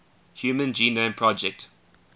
human genome project